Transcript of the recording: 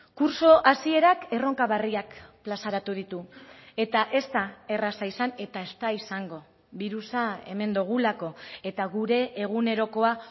kurtso hasierak erronka berriak plazaratu ditu eta ez da erraza izan eta ez da izango birusa hemen dugulako eta gure egunerokoa